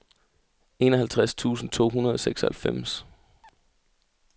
enoghalvtreds tusind to hundrede og seksoghalvfems